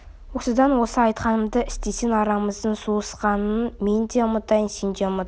осыдан осы айтқанымды істесең арамыздың суысқанын мен де ұмытайын сен де ұмыт